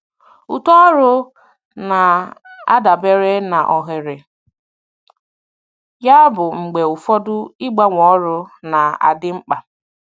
Uto ọrụ na-adabere na ohere, yabụ mgbe ụfọdụ ịgbanwe ọrụ na-adị mkpa.